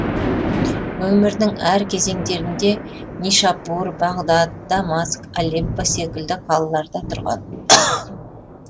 өмірінің әр кезеңдерінде нишапур бағдад дамаск алеппо секілді қалаларда тұрған